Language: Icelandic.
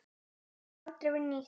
Þetta hefur aldrei verið nýtt.